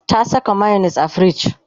ta Saka mayonis a firij